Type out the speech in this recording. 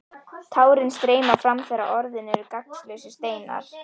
Tárin streyma fram þegar orðin eru gagnslausir steinar.